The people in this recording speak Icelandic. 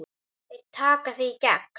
Þeir taka þig í gegn!